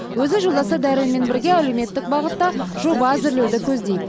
өзі жолдасы дәуренмен бірге әлеуметтік бағытта жоба әзірлеуді көздейді